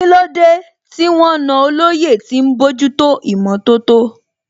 Kílódé tí wọ́n na olóyè tí ń bójútó ìmọ̀tótó?